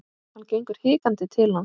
Hann gengur hikandi til hans.